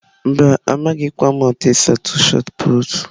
Mba, amaghim ka m otu esi atụ shọt pụtụ.